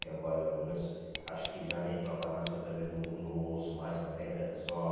Que agora não se acho que já nem toca mais, que eu também não ou não ouço mais também. Eu só